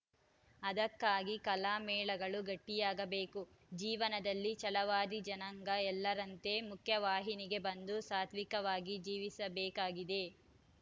ಅದಕ್ಕಾಗಿ ಕಲಾಮೇಳಗಳು ಗಟ್ಟಿಯಾಗಬೇಕು ಜೀವನದಲ್ಲಿ ಛಲವಾದಿ ಜನಾಂಗ ಎಲ್ಲರಂತೆ ಮುಖ್ಯವಾಹಿನಿಗೆ ಬಂದು ಸಾತ್ವಿಕವಾಗಿ ಜೀವಿಸಬೇಕಾಗಿದೆ